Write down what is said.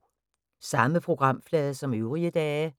Samme programflade som øvrige dage